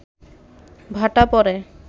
ভাটা পড়ে